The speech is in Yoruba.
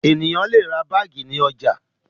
Ènìyàn le ra báágì ní ọjà.